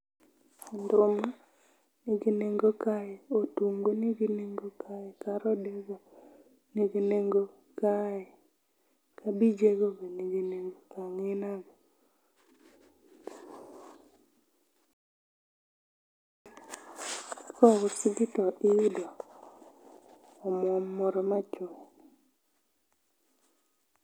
Nduma nigi nengo kae, otungu nigi nenge kae, karode nigi nengo kae, kabije go be nigi nengo, angina go. ka ousi tiyudo omuom moro machuok